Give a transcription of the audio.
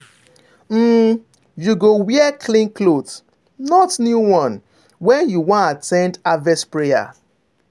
um you go wear clean cloth—not new one—when you wan at ten d harvest prayer.